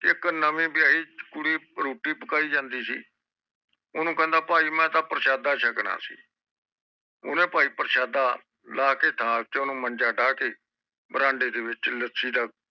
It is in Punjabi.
ਇਕ ਨਵੀਂ ਵਿਹਾਇ ਕੁੜੀ ਰੋਟੀ ਪਕਾਈ ਜਾਂਦੇ ਸੀ ਓਹਨੂੰ ਕਹਿੰਦਾ ਭਾਈ ਮੈਂ ਪ੍ਰਸ਼ਾਦਾ ਸ਼ਕਣਾ ਸੀ ਓਹਨੇ ਭਾਈ ਓਹਨੂੰ ਪ੍ਰਸ਼ਾਦਾ ਲਾਹ ਕੇ ਥਾਲ ਚ ਓਹਨੂੰ ਮੰਜਾ ਡਾਹਹ ਕੇ ਵਰਾਂਡੇ ਚ ਲਾਸ਼ੇ ਦਾ